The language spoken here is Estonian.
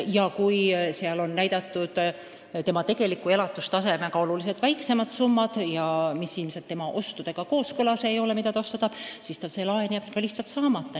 Ja kui seal on näidatud tegeliku elatustasemega võrreldes oluliselt väiksemad summad, mis ilmselgelt inimese plaanitud ostudega kooskõlas ei ole, siis see laen jääb lihtsalt saamata.